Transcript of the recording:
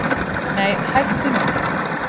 Nei hættu nú!